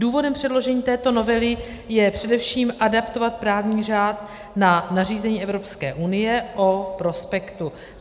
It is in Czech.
Důvodem předložení této novely je především adaptovat právní řád na nařízení Evropské unie o prospektu.